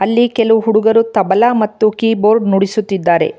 ಅಲ್ಲಿ ಕೆಲವು ಹುಡುಗರು ತಬಲ ಮತ್ತು ಕೀಬೋರ್ಡ್ ನುಡಿಸುತ್ತಿದ್ದಾರೆ.